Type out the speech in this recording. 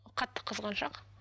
қатты қызғаншақ